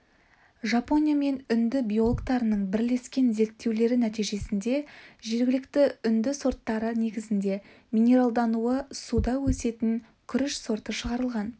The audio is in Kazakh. жапония мен үнді биологтарының бірлескен зерттеулері нәтижесінде жергілікті үнді сорттары негізінде минералдануы суда өсетін күріш сорты шығарылған